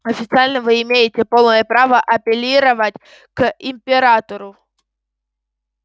официально вы имеете полное право апеллировать к императору